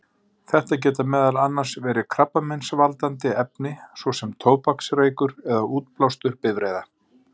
Þetta geta meðal annars verið krabbameinsvaldandi efni, svo sem tóbaksreykur eða útblástur bifreiða.